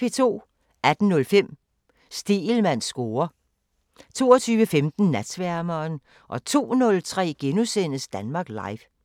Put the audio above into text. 18:05: Stegelmanns score 22:15: Natsværmeren 02:03: Danmark Live *